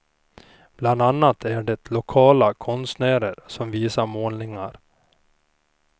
Bland annat är det lokala konstnärer som visar målningar.